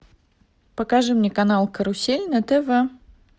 покажи мне канал карусель на тв